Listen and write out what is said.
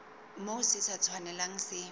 moo se sa tshwanelang se